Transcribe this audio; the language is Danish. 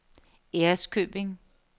Ærøskøbing